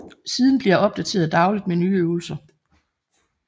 Siden bliver opdateret dagligt med nye øvelser